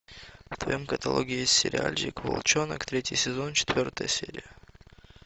в твоем каталоге есть сериальчик волчонок третий сезон четвертая серия